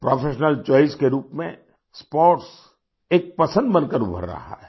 Professional choice के रूप में स्पोर्ट्स एक पसंद बनकर उभर रहा है